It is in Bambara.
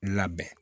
Labɛn